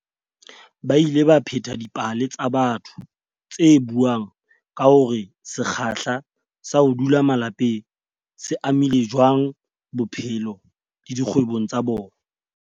Ba ile ba pheta dipale tsa batho tse buang ka hore se kgahla sa ho dula malapeng se amile jwang bophelo le dikgwebong tsa bona.